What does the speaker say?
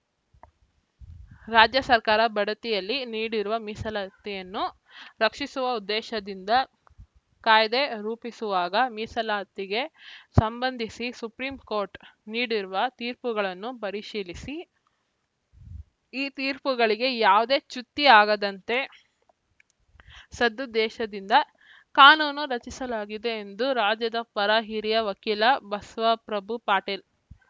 ರಾಜ್ಯ ಸರ್ಕಾರ ಬಡತಿಯಲ್ಲಿ ನೀಡಿರುವ ಮೀಸಲಾತಿಯನ್ನು ರಕ್ಷಿಸುವ ಉದ್ದೇಶದಿಂದ ಕಾಯ್ದೆ ರೂಪಿಸುವಾಗ ಮೀಸಲಾತಿಗೆ ಸಂಬಂಧಿಸಿ ಸುಪ್ರೀಂ ಕೋರ್ಟ್‌ ನೀಡಿರುವ ತೀರ್ಪುಗಳನ್ನು ಪರಿಶೀಲಿಸಿ ಈ ತೀರ್ಪುಗಳಿಗೆ ಯಾವುದೇ ಚ್ಯುತಿ ಆಗದಂತೆ ಸದುದ್ದೇಶದಿಂದ ಕಾನೂನು ರಚಿಸಲಾಗಿದೆ ಎಂದು ರಾಜ್ಯದ ಪರ ಹಿರಿಯ ವಕೀಲ ಬಸವಪ್ರಭು ಪಾಟೀಲ